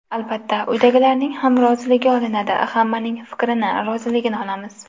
Albatta, uydagilarning ham roziligi olinadi, hammaning fikrini, roziligini olamiz.